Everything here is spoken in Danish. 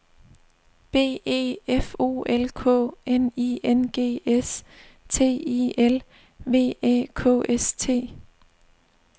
B E F O L K N I N G S T I L V Æ K S T